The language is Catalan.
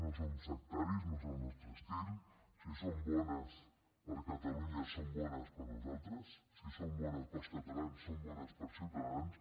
no som sectaris no és el nostre estil si són bones per a catalunya són bones per a nosaltres si són bones per als catalans són bones per a ciutadans